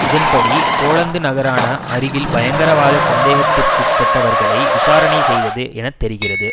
இதன்படி போலந்து நகரான அருகில் பயங்கரவாத சந்தேகத்திற்குட்பட்டவர்களை விசாரணை செய்தது என தெரிகிறது